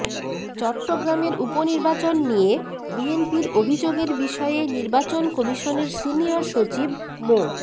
চট্টগ্রামের উপনির্বাচন নিয়ে বিএনপির অভিযোগের বিষয়ে নির্বাচন কমিশনের সিনিয়র সচিব মো